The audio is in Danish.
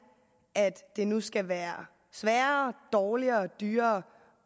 at det nu skal være sværere dårligere og dyrere